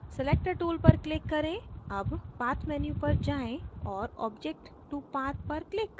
selector tool पर click करें अब path menu पर जाएँ और object to path पर click करें